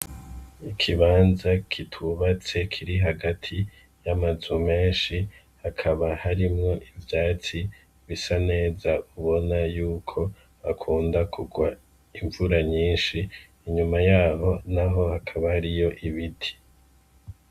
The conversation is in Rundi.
Ikibanza kitubatse kiri hagati y'amazu menshi, hakaba harimwo ivyatsi bisa neza ubona y'uko hakunda kugwa imvura nyinshi. Inyuma y'aho naho hakaba hariyo ibiti.